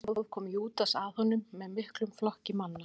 meðan á því stóð kom júdas að honum með miklum flokki manna